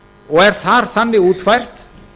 og er þar þannig útfært